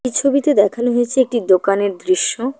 এই ছবিতে দেখানো হয়েছে একটি দোকানের দৃশ্য।